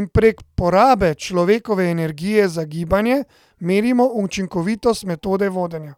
in prek porabe človekove energije za gibanje merimo učinkovitost metode vodenja.